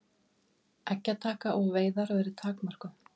Eggjataka og veiðar verði takmörkuð